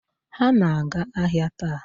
Ha na-aga ahịa taa.